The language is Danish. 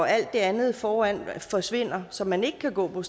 alt det andet foran forsvinder så man ikke kan gå